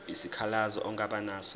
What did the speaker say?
isikhalazo ongaba naso